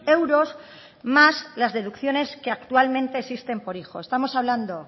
euros más las deducciones que actualmente existen por hijo estamos hablando